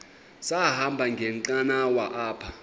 sahamba ngenqanawa apha